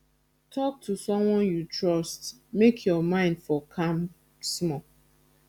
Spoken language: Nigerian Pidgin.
talk to someone you trust make your mind for calm small